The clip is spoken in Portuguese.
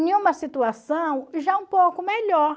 Em uma situação já um pouco melhor,